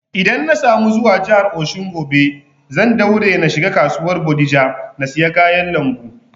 Idan na samu zuwa jihar Osun gobe, zan daure na shiga kasuwar bodija na siya kayan lambu